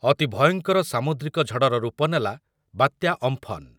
ଅତି ଭୟଙ୍କର ସାମୁଦ୍ରିକ ଝଡ଼ର ରୂପ ନେଲା ବାତ୍ୟା ଅମ୍ଫନ ।